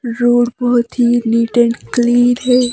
Road बहुत ही neat and clean है।